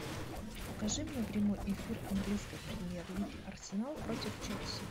покажи мне прямой эфир английской премьер лиги арсенал против челси